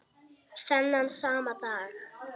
Þennan sama dag